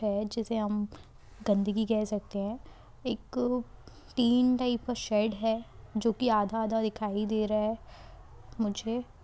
है जिसे हम गंदगी कह सकते हैं। एक टिन टाइप का शेड है जो कि आधा-आधा दिखाई दे रहा है मुझे --